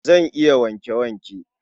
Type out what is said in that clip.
Zan yi wanke-wanke.